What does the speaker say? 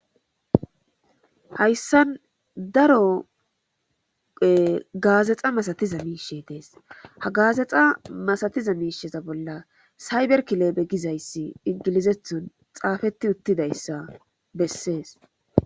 Hayssan daroe gaazexa masatiza miishe dees ha gaazexa masatiza miisheza bolla sayberkileebe gizayssi ingilizethon xaafetti uttidayssa bessees.